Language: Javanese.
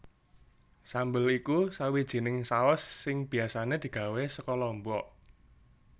Sambel iku sawijining saus sing biasané digawé saka lombok